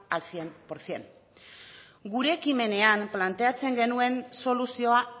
al cien por ciento gure ekimenean planteatzen genuen soluzioa